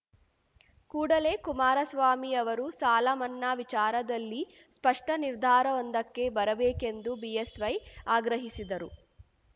ಕೂಡಲೇ ಕುಮಾರಸ್ವಾಮಿ ಅವರು ಸಾಲ ಮನ್ನಾ ವಿಚಾರದಲ್ಲಿ ಸ್ಪಷ್ಟನಿರ್ಧಾರವೊಂದಕ್ಕೆ ಬರಬೇಕೆಂದು ಬಿಎಸ್‌ವೈ ಆಗ್ರಹಿಸಿದರು